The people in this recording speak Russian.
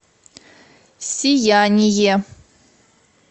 сияние